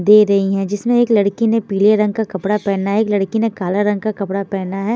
दे रही है जिसमे एक लड़की ने पीले रंग का कपड़ा पहना है एक लड़की ने कला रंग का कपड़ा पहना है।